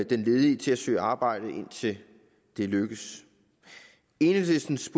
den ledige til at søge arbejde indtil det lykkes enhedslistens